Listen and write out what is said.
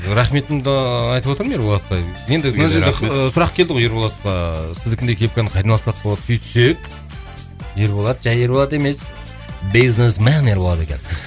рахметімді айтып отырмын ерболатқа енді мына жерде ыыы сұрақ келді ғой ерболатқа сіздікіндей кепканы қайдан алсақ болады сөйтсек ерболат жай ерболат емес бизнесмен ерболат екен